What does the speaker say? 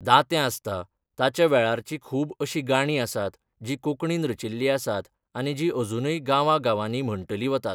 दातें आसता ताच्या वेळारचीं खूब अशीं गाणीं आसात जीं कोंकणीन रचिल्ली आसात आनी जीं अजुनूय गांवा गांवांनी म्हणटली वतात.